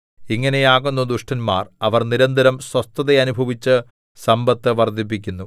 ഇങ്ങനെ ആകുന്നു ദുഷ്ടന്മാർ അവർ നിരന്തരം സ്വസ്ഥത അനുഭവിച്ച് സമ്പത്ത് വർദ്ധിപ്പിക്കുന്നു